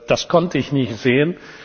Das konnte ich nicht sehen.